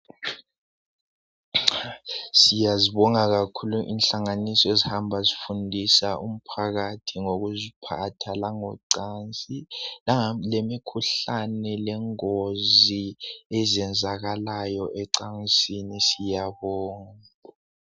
Siyazibonga kakhulu inhlanganiso ezihamba ezifundisa umphakathi ngokuziphatha langocansi langemikhuhlane lengozi ezenzakalayo ecansini siyabonga.